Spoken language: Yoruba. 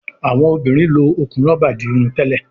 Awọn obìrin ló okún roba dì Irun tèlé